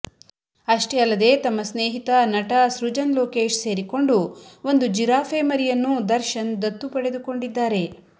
ಅಷ್ಟೇ ಅಲ್ಲದೆ ತಮ್ಮ ಸ್ನೇಹಿತ ನಟ ಸೃಜನ್ ಲೋಕೇಶ್ ಸೇರಿಕೊಂಡು ಒಂದು ಜಿಫಾರೆ ಮರಿಯನ್ನೂ ದರ್ಶನ್ ದತ್ತು ಪಡೆದುಕೊಂಡಿದ್ದಾರೆ